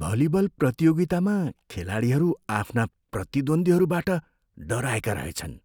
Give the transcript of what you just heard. volleyball प्रतियोगितामा खेलाडीहरू आफ्ना प्रतिद्वन्द्वीहरूबाट डराएका रहेछन्